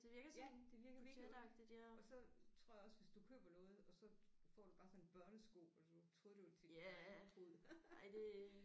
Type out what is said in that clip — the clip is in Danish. Ja på Temu og så tror jeg ogå hvis du køber noget og så får du bare sådan en børnesko eller sådan noget troede det var til din egen fod